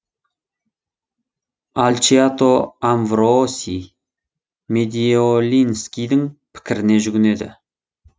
альчиато амвро сий медиолинскийдің пікіріне жүгінеді